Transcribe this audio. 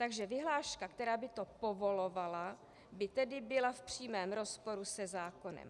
Takže vyhláška, která by to povolovala, by tedy byla v přímém rozporu se zákonem.